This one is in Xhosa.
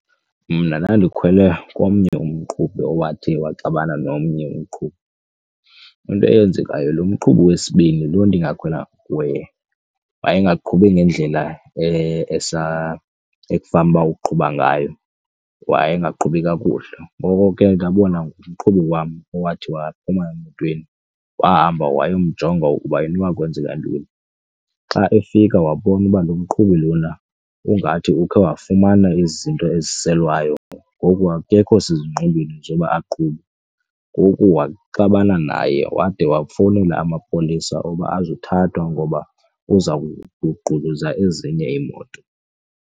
Mna ndandikhwele komnye umqhubi owathi waxabana nomnye umqhubi, into eyenzekayo loo mqhubi wesibini loo nto ndingakhwelanga kuye wayengafuni ngendlela ekufanuba uqhuba ngayo, wayengaqhubi kakuhle. Ngoko ke ndabona umqhubi wam owathi waphuma emotweni wahamba wayomjonga ukuba inoba kwenzeka ntoni. Xa efika wabonwa uba lo mqhubi lona ungathi ukhe wafumana izinto eziselwayo ngoku akekho sezingqondweni zoba aqhube. Ngoku waxabana naye wade wafowunela amapolisa oba azothathwa ngoba uza kugquluza ezinye iimoto.